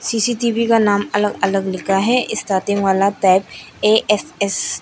CCTV का नाम अलग अलग लिखा है ए_एस_एस ।